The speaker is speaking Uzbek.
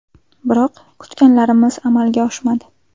Biroq kutganlarimiz amalga oshmadi.